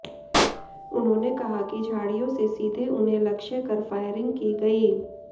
उन्होंने कहा कि झाड़ियों से सीधे उन्हें लक्ष्य कर फायरिंग की गई